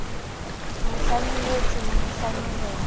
mo hlanohetse ho mo hlanohela